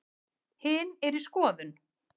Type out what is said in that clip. Hin er í skoðun.